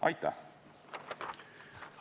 Aitäh!